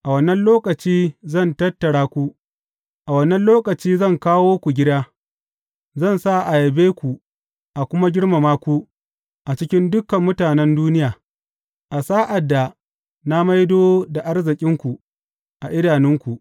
A wannan lokaci zan tattara ku; a wannan lokaci zan kawo ku gida, zan sa a yabe ku a kuma girmama ku a cikin dukan mutanen duniya a sa’ad da na maido da arzikinku a idanunku,